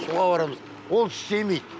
суға барамыз ол істемейді